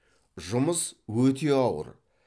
жұмыс өте ауыр